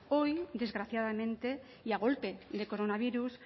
hoy desgraciadamente y a golpe de coronavirus